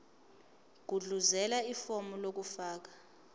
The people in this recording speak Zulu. gudluzela ifomu lokufaka